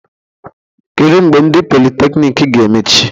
Kedu mgbe ndị politekniiki ga-emechi?